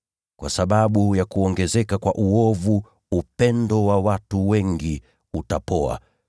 Kwa sababu ya kuongezeka kwa uovu upendo wa watu wengi utapoa,